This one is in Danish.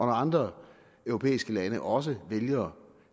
andre europæiske lande også vælger